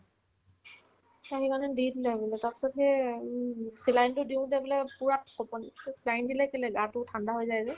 তাৰপিছত সেই উম হুম saline তো দিওতে বোলে পূৰা কঁপনি to saline দিলে কেলেই আকৌ ঠাণ্ডা হৈ যায় যে